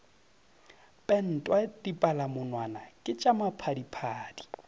pentwa dipalamonwana ke tša maphadiphadi